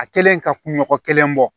A kɛlen ka kunɲɔgɔn kelen bɔ